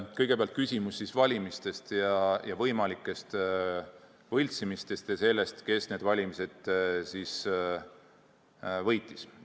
Kõigepealt küsimus valimistest ja võimalikest võltsimistest ja sellest, kes need valimised võitis.